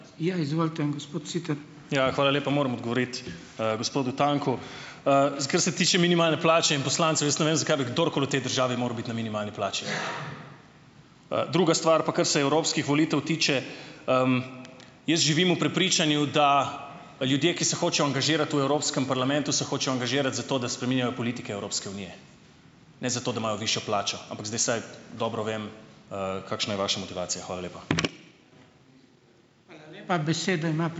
Ja, izvolite, gospod Siter. Ja, hvala lepa. Moram odgovoriti, gospodu Tanku. Kar se tiče minimalne plače in poslancev, jaz ne vem, zakaj bi kdorkoli v tej državi moral biti na minimalni plači. Druga stvar pa kar se evropskih volitev tiče. Jaz živim v prepričanju, da ljudje, ki se hočejo angažirati v Evropskem parlamentu, se hočejo angažirati zato, da spreminjajo politike Evropske unije, ne zato, da imajo višjo plačo; ampak zdaj, saj dobro vem, kakšna je vaša motivacija. Hvala lepa. Hvala lepa, besedo ima